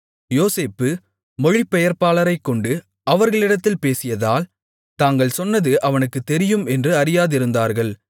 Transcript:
யோசேப்பு மொழிபெயர்ப்பாளரைக்கொண்டு அவர்களிடத்தில் பேசியதால் தாங்கள் சொன்னது அவனுக்குத் தெரியும் என்று அறியாதிருந்தார்கள்